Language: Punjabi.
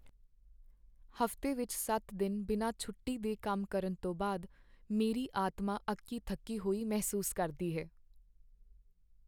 ਹਫ਼ਤੇ ਵਿੱਚ ਸੱਤ ਦਿਨ ਬਿਨਾਂ ਛੋਟੀ ਦੇ ਕੰਮ ਕਰਨ ਤੋਂ ਬਾਅਦ ਮੇਰੀ ਆਤਮਾ ਅੱਕੀ ਥੱਕੀ ਹੋਈ ਮਹਿਸੂਸ ਕਰਦੀ ਹੈ